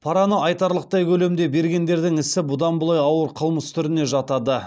параны айтарлықтай көлемде бергендердің ісі бұдан былай ауыр қылмыс түріне жатады